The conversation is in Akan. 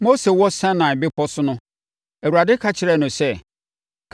Mose wɔ Sinai Bepɔ so no, Awurade ka kyerɛɛ no sɛ,